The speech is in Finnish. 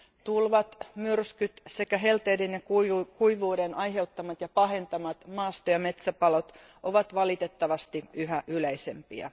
Tulvat, myrskyt sekä helteiden ja kuivuuden aiheuttamat ja pahentamat maasto ja metsäpalot ovat valitettavasti yhä yleisempiä.